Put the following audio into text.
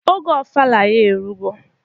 Oge ofala ya erugo.